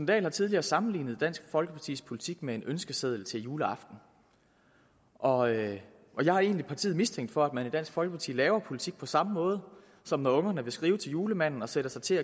dahl har tidligere sammenlignet dansk folkepartis politik med en ønskeseddel til juleaften og jeg har egentlig partiet mistænkt for at man i dansk folkeparti laver politik på samme måde som når ungerne vil skrive til julemanden og sætter sig til